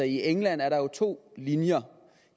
i england er der jo to linjer